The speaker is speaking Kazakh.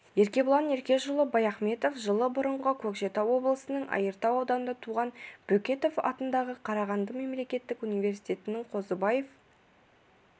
еркебұлан еркешұлы баяхметов жылы бұрынғы көкшетау облысының айыртау ауданында туған бөкетов атындағы қарағанды мемлекеттік университетін қозыбаев